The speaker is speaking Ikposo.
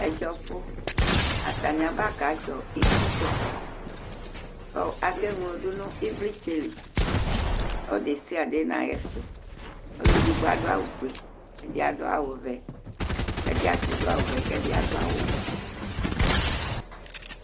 Ɛdzɔfu: Ataŋi abakadzɔ ikudzɔ kʋ akewlo ɖu ŋu ivlitsɛli Ɔlu ɖesiaɖe ŋu aɣisu Ɔluɛɖigbo aɖu awu fʋe, ɛdí aɖu vɛ, ɛɖìbi ati ɖu awu vɛ kʋ ɛɖi aɖu awu wɛ